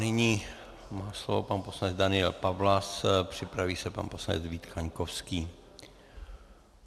Nyní má slovo pan poslanec Daniel Pawlas, připraví se pan poslanec Vít Kaňkovský.